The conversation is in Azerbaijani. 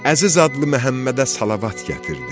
Əziz adlı Məhəmmədə salavat gətirdi.